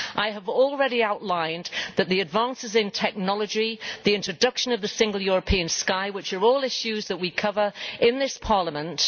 I have already outlined that the advances in technology, the introduction of the Single European Sky, are all issues that we cover in this Parliament